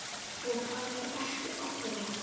Og hann er ekki allra.